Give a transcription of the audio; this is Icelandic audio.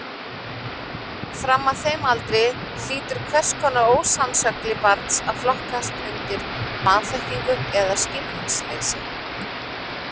Fram að þeim aldri hlýtur hvers kyns ósannsögli barns að flokkast undir vanþekkingu eða skilningsleysi.